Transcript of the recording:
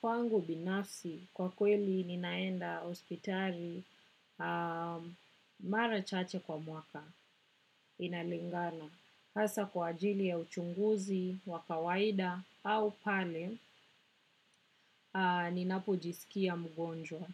Kwangu binafsi, kwa kweli ninaenda hospitali mara chache kwa mwaka, inalingana. Hasa kwa ajili ya uchunguzi wa kawaida au pale, ninapo jisikia mgonjwa.